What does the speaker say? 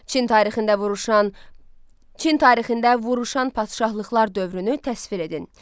Çin tarixində vuruşan Çin tarixində vuruşan padşahlıqlar dövrünü təsvir edin.